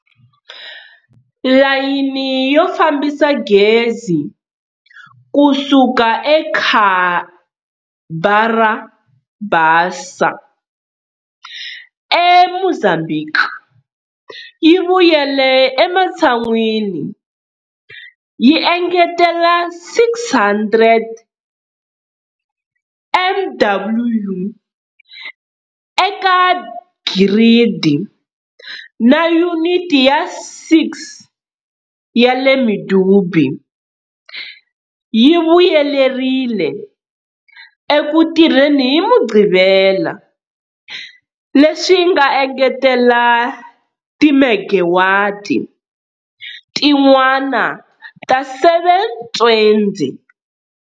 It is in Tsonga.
Layini yo fambisa gezi kusuka eCabara Bassa eMozambique yi vuyele ematshan'wini, yi engetela 600 MW eka giridi, na Yuniti ya 6 ya le Medupi yi vuyelerile eku tirheni hi mugqivela, leswi nga engetela timegawati tin'wana ta 720.